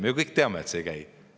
Me ju kõik teame, et see ei käi nii.